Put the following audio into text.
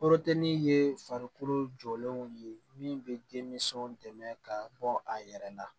ye farikolo jɔlenw ye min bɛ denmisɛnw dɛmɛ ka bɔ a yɛrɛ la